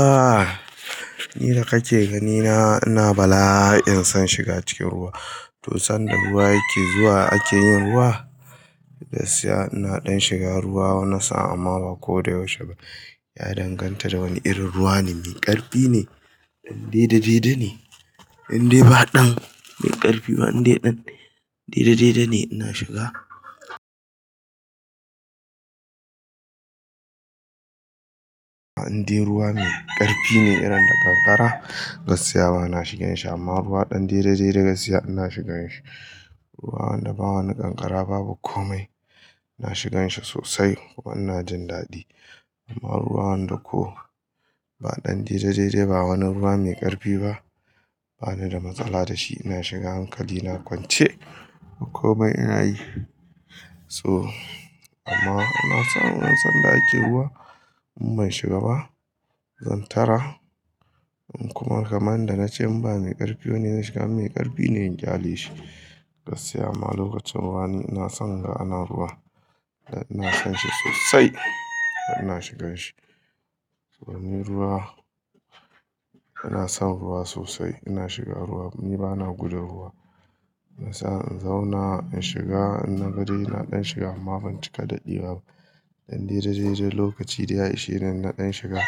Ahhh! Ni da kake ganina ina bala'in son shiga cikin ruwa. To sanda ruwa yake zuwa a ke yin ruwa, gaskiya ina ɗan shiga ruwa na so amma ba ko da yaushe ba. Ya danganta da wane irin ruwa ne, me ƙarfi ne, ɗan daidai ne, in dai ba ɗan me ƙarfi ba, inde ɗan daidai ne ina shiga. In dai ruwa me ƙarfi ne, irin na ƙanƙara gaskiya bana shigan shi amma ruwa ɗan daidai daidai gaskiya ina shigan shi. Ruwa wanda ba wani ƙanƙara, babu komai, ina shigan shi sosai kuma ina jin daɗi. Amma ruwan da ko ba ɗan daidai dai, ba wani ruwa me ƙarfi ba, bani da matsala da shi ina shiga hankali na kwance ko komai ina yi. So amma ina son in san da ake ruwa in ban shiga ba, zan tara. Kuma kamar da na ce in ba me ƙarfi ne, in shiga me ƙarfi ne in kyale shi. Gaskiya ma lokacin wani ina son ga ana ruwa. Ina son shi sosai kuma ina shigan shi. To me ruwa, ina son ruwa sosai ina shiga ruwa. Ni bana gudun ruwa. Ina son in zauna in shiga, in na gani ina ɗan shiga amma ban cika daɗi ba. Ɗan daidai dai lokaci da ya ishe ina ɗan shiga.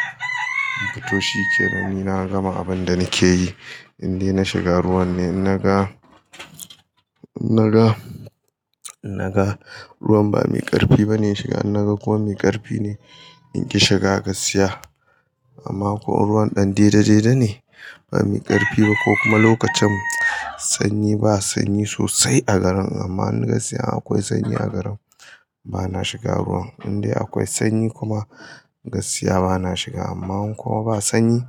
To shi kenan, ni na gama abin da nake yi. In dai na shiga ruwan ne, in na ga, in na ga, in na ga ruwan ba me ƙarfi ba ne shiga. In na ga kuwa me ƙarfi ne, in ƙi shiga gaskiya. Amma kuwa in ruwan ɗan daidai dai ne, ba me ƙarfi ba ko kuma lokacin sanyi ba sanyi sosai a garin amma in gaskiya akwai sanyi a garin, bana shiga ruwan. In dai akwai sanyi kuma gaskiya bana shiga amma in kuma ba sanyi,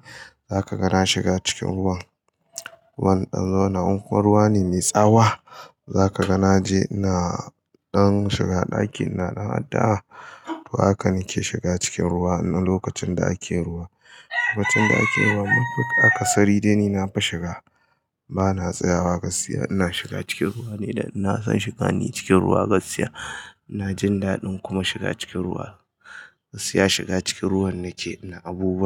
za ka ga na shiga cikin ruwan. Wannan ɗan zauna in kuwa ruwa ne me tsawa, za ka ga na je ina ɗan shiga ɗakin na ɗan addu'a. To haka nake shiga cikin ruwa na lokacin da ake ruwa. Lokacin da ake ruwa mafi akasari dai ni nafi shiga. Bana tsayawa gaskiya ina shiga cikin ruwa ni da ina son shiga ni cikin ruwa gaskiya. Ina jin daɗin kuma shiga cikin ruwa. Gaskiya shiga cikin ruwa nake, ina abubuwa.